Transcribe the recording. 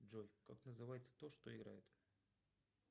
джой как называется то что играет